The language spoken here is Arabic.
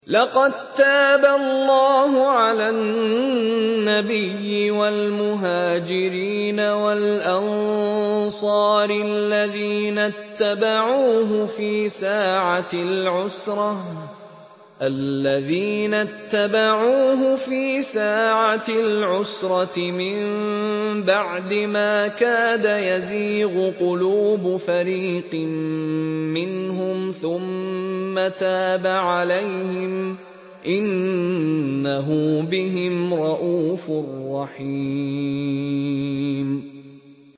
لَّقَد تَّابَ اللَّهُ عَلَى النَّبِيِّ وَالْمُهَاجِرِينَ وَالْأَنصَارِ الَّذِينَ اتَّبَعُوهُ فِي سَاعَةِ الْعُسْرَةِ مِن بَعْدِ مَا كَادَ يَزِيغُ قُلُوبُ فَرِيقٍ مِّنْهُمْ ثُمَّ تَابَ عَلَيْهِمْ ۚ إِنَّهُ بِهِمْ رَءُوفٌ رَّحِيمٌ